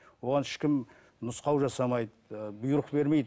оған ешкім нұсқау жасамайды ыыы бұйрық бермейді